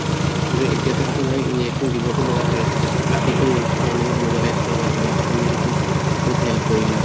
কিন্তু এতিয়াটো injection দিবটো লাগা হয় আছিলে বাকিটো মানুহ mobilize কৰা বা কিবা তুমি সেইটোত কত help কৰিলা